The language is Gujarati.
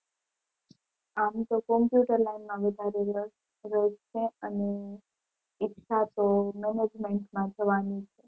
આમ તો કમ્પ્યુટર લાઇન માં વધારે રસ છે અને ઈચ્છા તો management માં જવાની છે.